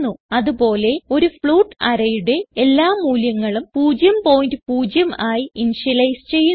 അത് പോലെ ഒരു ഫ്ലോട്ട് arrayയുടെ എല്ലാ മൂല്യങ്ങളും 00 ആയി ഇന്ത്യലൈസ് ചെയ്യുന്നു